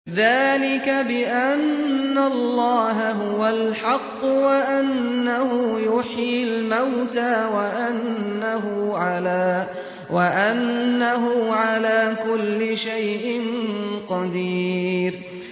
ذَٰلِكَ بِأَنَّ اللَّهَ هُوَ الْحَقُّ وَأَنَّهُ يُحْيِي الْمَوْتَىٰ وَأَنَّهُ عَلَىٰ كُلِّ شَيْءٍ قَدِيرٌ